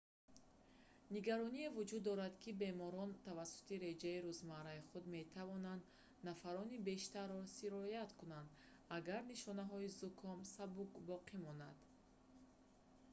нигароние вуҷуд дорад ки беморон тавассути реҷаи рӯзмарраи худ метавонанд нафарони бештарро сироят кунанд агар нишонаҳои зуком сабук боқӣ монад